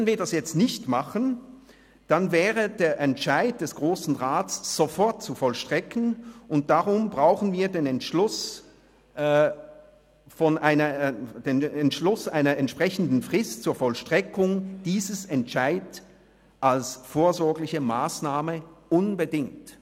Würden wir das jetzt nicht tun, dann wäre der Entscheid des Grossen Rats sofort zu vollstrecken, und darum brauchen wir den Entschluss einer entsprechenden Frist zur Vollstreckung dieses Entscheids als vorsorgliche Massnahme unbedingt.